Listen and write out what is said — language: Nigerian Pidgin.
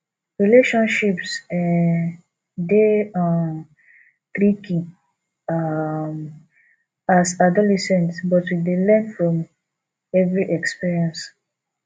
relationships um dey um tricky um as adolescent but we dey learn from every experience